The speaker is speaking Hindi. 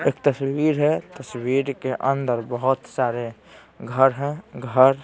एक तस्वीर हैं तस्वीर के अंदर बहुत सारे घर हैं घर--